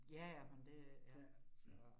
Ja ja, men det ja, så